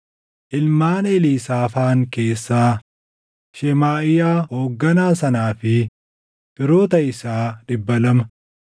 ilmaan Eliisaafaan keessaa, Shemaaʼiyaa hoogganaa sanaa fi firoota isaa 200;